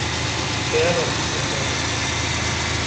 Keeta simu sapuk